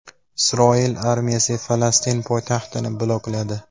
Isroil armiyasi Falastin poytaxtini blokladi.